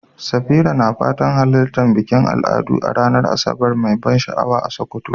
Safira na fatan halartar bikin al'adu a ranar Asabar mai ban sha'awa a Sokoto.